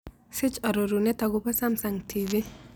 Siich arorunet agoboo samsung t. v.